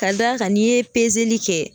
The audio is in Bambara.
Ka d'a kan n'i ye pezeli kɛ